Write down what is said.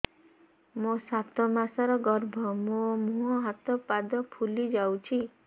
ମୋ ସାତ ମାସର ଗର୍ଭ ମୋ ମୁହଁ ହାତ ପାଦ ଫୁଲି ଯାଉଛି